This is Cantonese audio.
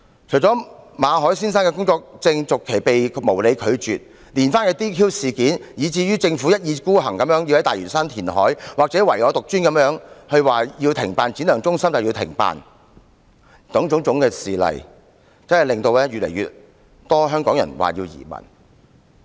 除了馬凱先生的工作證續期申請被無理拒絕外，連番的 "DQ" 事件，以至政府一意孤行宣布要在大嶼山進行填海，或唯我獨尊般表示要停辦職業訓練局觀塘展亮技能發展中心等，種種事例越發令香港人考慮移民。